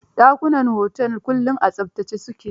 Dakunan otel kullum a tsaftace su ke.